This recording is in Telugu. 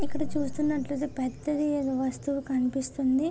ఇక్కడ చూస్తున్నట్టు ఐతే పెద్దది ఏదో కనిపిస్తుంది.